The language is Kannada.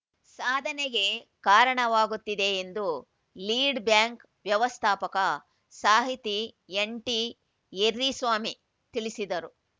ಸಾಧನೆಗೆ ಕಾರಣವಾಗುತ್ತಿದೆ ಎಂದು ಲೀಡ್‌ ಬ್ಯಾಂಕ್‌ ವ್ಯವಸ್ಥಾಪಕ ಸಾಹಿತಿ ಎನ್‌ಟಿಎರ್ರಿಸ್ವಾಮಿ ತಿಳಿಸಿದರು